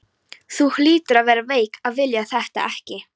Þú hlýtur að vera veik að vilja þetta ekki!